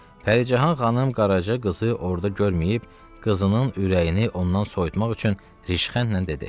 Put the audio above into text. Pəricahan xanım Qaraca qızı orada görməyib qızının ürəyini ondan soyutmaq üçün rişxənlə dedi: